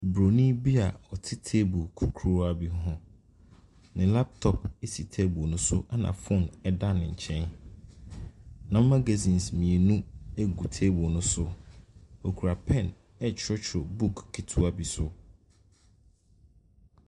Broni bia ɔte table kurukuruwa bi ho. Ne 'laptop' esi 'table' no so ɛna phone ɛda no kyɛn. Na Magazines mmienu egu table no so. okra 'pen' ɛtwerɛtwerɛ book ketewa bi so.